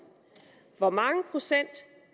hvor mange procent